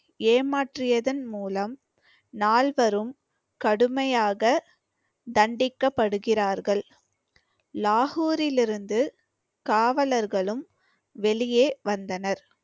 ஏமாற்றியதன் மூலம் நால்வரும் கடுமையாக தண்டிக்கப்படுகிறார்கள் லாகூரிலிருந்து காவலர்களும் வெளியே வந்தனர்